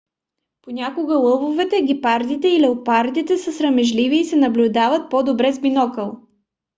понякога лъвовете гепардите и леопардите са срамежливи и се наблюдават по-добре с бинокъл